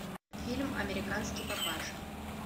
фильм американский папаша